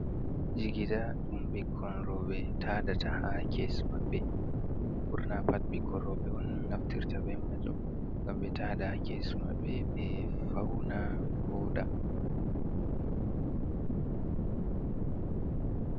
Jigida ɗum ɓikkon rooɓe taadata ha kesi maɓɓe, ɓurna pat ɓikkon rooɓe on naftirta be maajum ngam ɓe taada ha kesi maɓɓe ɓe fauna ɓe vooɗa.